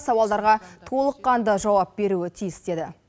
сауалдарға толыққанды жауап беруі тиіс деді